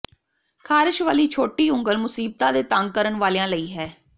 ਖਾਰਸ਼ ਵਾਲੀ ਛੋਟੀ ਉਂਗਲ ਮੁਸੀਬਤਾਂ ਦੇ ਤੰਗ ਕਰਨ ਵਾਲਿਆਂ ਲਈ ਹੈ